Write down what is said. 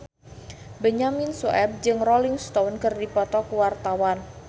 Benyamin Sueb jeung Rolling Stone keur dipoto ku wartawan